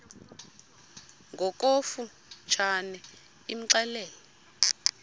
ngokofu tshane imxelele